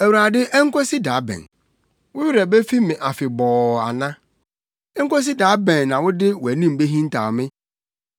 Awurade enkosi da bɛn? Wo werɛ befi me afebɔɔ ana? Enkosi da bɛn na wode wʼanim behintaw me?